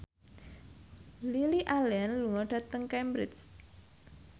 Lily Allen lunga dhateng Cambridge